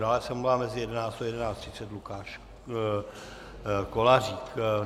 Dále se omlouvá mezi 11.00 a 11.30 Lukáš Kolářík.